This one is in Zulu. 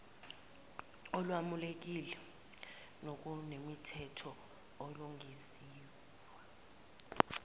olwamukelekile nokunemithetho olungenziwa